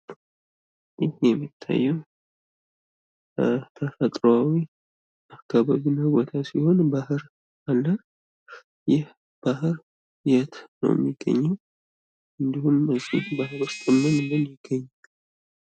ይህ የሚታየው ተፈጥሮኣዊ አካባቢ ሲሆን ባር አለ። ይህ ባህር የት ነው የሚገኘው እንዲሁም እዚህ ባህር ውስጥ ምን ምን ይገኛል?